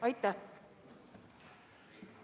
Aitäh!